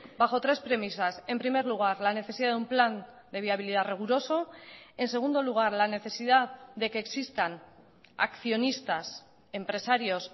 bajo tres premisas en primer lugar la necesidad de un plan de viabilidad riguroso en segundo lugar la necesidad de que existan accionistas empresarios